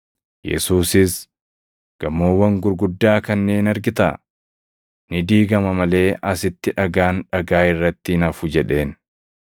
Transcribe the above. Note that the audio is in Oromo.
Yesuusis, “Gamoowwan gurguddaa kanneen argitaa? Ni diigama malee asitti dhagaan dhagaa irratti hin hafu” jedheen.